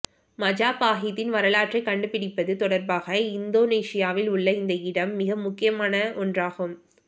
மஜபாஹித்தின் வரலாற்றைக் கண்டுபிடிப்பது தொடர்பாக இந்தோனேசியாவில் உள்ள இந்த இடம் மிக முக்கியமான ஒன்றாகும்